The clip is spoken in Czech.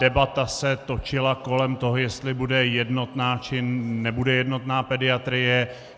Debata se točila kolem toho, jestli bude jednotná, či nebude jednotná pediatrie.